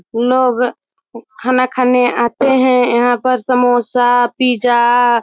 लोग खाना खाने आते हैं यहाँ पर समोसा पिज़्ज़ा --